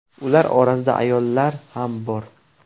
Ular orasida ayollar ham bor.